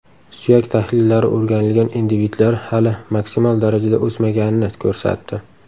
Suyak tahlillari o‘rganilgan individlar hali maksimal darajada o‘smaganini ko‘rsatdi.